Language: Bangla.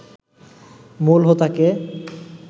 মূল হোতা কে